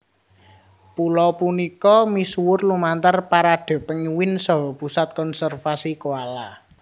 Pulo punika misuwur lumantar Parade Penguin saha Pusat Konservasi Koala